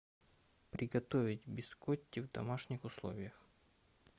приготовить бискотти в домашних условиях